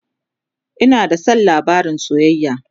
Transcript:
Ina da San labarin soyayya